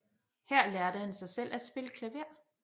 Her lærte han sig selv at spille klaver